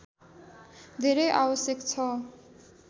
धेरै आवश्यक छ